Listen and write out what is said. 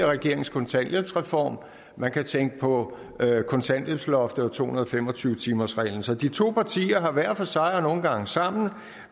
regerings kontanthjælpsreform og man kan tænke på kontanthjælpsloftet og to hundrede og fem og tyve timersreglen så de to partier har hver for sig og nogle gange sammen